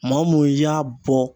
Maa mun y'a bɔ